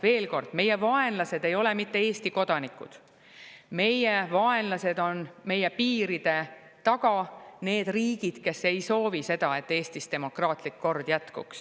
Veel kord: meie vaenlased ei ole Eesti kodanikud, vaid meie vaenlased on meie piiride taga need riigid, kes ei soovi, et Eestis demokraatlik kord püsiks.